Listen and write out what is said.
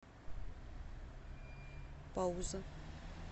пауза